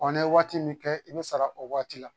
ne ye waati min kɛ i bɛ sara o waati la